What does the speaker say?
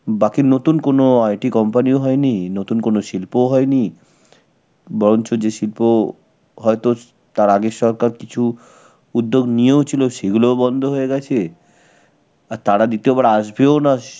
বাকি নতুন কোনো IT company ও হয়নি, নতুন কোন শিল্পও হয়নি. বরঞ্চ যে শিল্প হয়তো তার আগে সরকার কিছু উদ্যোগ নিয়েও ছিল, সেগুলোও বন্ধ হয়ে গেছে. আর তারা দ্বিতীয়বার আসবেও না স~.